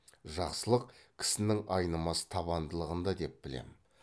жақсылық кісінің айнымас табандылығында деп білем